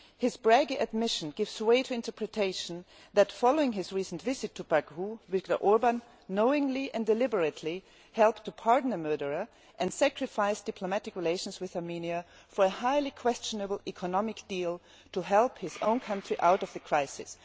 This brave admission gives rise to the interpretation that, following his recent visit to Baku, Mr Orban knowingly and deliberately helped to pardon a murderer, and sacrificed diplomatic relations with Armenia for a highly questionable economic deal to help his own country out of the crisis.